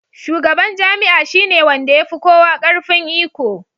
Shugaban jami'a shi ne wanda ya fi kowa ƙarfin iko.